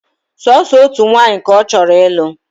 Sooso otu nwanyị ka ọ chọrọ ịlụ